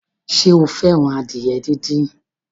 Sọ fẹ́ràn adìyẹ díndín?